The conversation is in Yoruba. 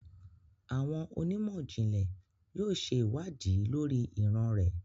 Awọn onimọ-jinlẹ yóò ṣe iwadii lori iran rẹ